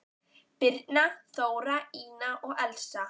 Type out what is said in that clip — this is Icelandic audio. Birna, Þóra, Ína og Elsa.